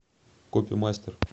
копимастер